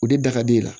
O de da ka di e ye